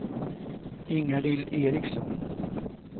Ingalill Eriksson